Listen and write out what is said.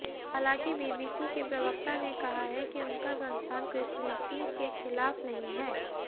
हालांकि बीबीसी के प्रवक्ता ने कहा है कि उनका संस्थान क्रिश्चनिटी के खिलाफ नहीं है